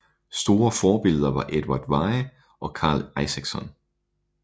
Store forbilleder var Edvard Weie og Karl Isakson